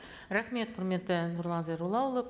рахмет құрметті нұрлан зайроллаұлы